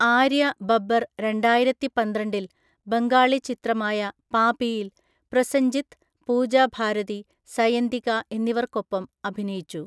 ആര്യ ബബ്ബർ രണ്ടായിരത്തിപന്ത്രണ്ടില്‍ ബംഗാളി ചിത്രമായ 'പാപി'യിൽ പ്രൊസഞ്ജിത്, പൂജ ഭാരതി, സയന്തിക എന്നിവർക്കൊപ്പം അഭിനയിച്ചു.